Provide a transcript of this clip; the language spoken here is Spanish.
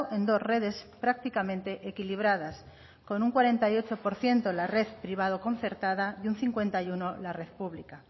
en dos redes prácticamente equilibradas con un cuarenta y ocho por ciento la red privado concertada y un cincuenta y uno por ciento la red pública